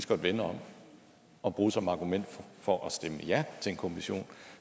godt vende om og bruge som argument for at stemme ja til en kommission